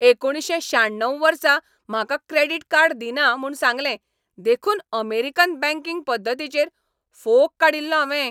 एकुणशे श्याण्णव वर्सा म्हाका क्रेडिट कार्ड दिना म्हूण सांगलें देखून अमेरिकन बँकिंग पद्दतीचेर फोग काडिल्लो हांवें.